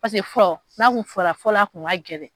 fɔlɔ n'a tun fara fɔlɔ a tun ka gɛlɛn